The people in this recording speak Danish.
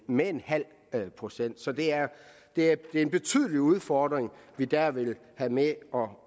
med en halv procent så det er det er en betydelig udfordring vi der vil have med